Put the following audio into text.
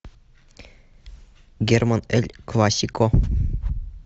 герман эль классико